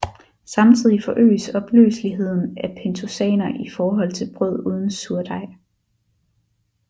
Samtidig forøges opløseligheden af pentosaner i forhold til brød uden surdej